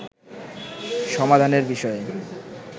সমাধানের বিষয়ে